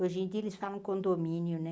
Hoje em dia eles falam condomínio, né?